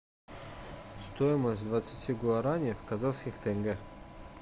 стоимость двадцати гуараней в казахских тенге